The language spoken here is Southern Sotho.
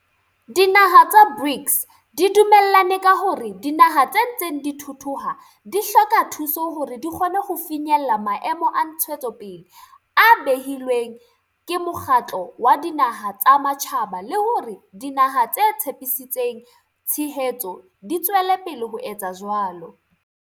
Dinaha tsa BRICS di dume llane ka hore dinaha tse ntseng di thuthuha di hloka thuso hore di kgone ho finyella Maemo a Ntshetsopele a behilweng ke Mokgatlo wa Dinaha tsa Matjhaba le hore dinaha tse tshepisitseng tshehetso di tswele pele ho etsa jwalo.